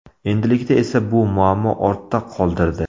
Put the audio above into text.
Endilikda esa bu muammo ortda qoldirdi.